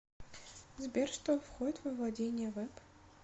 сбер что входит во владения вэб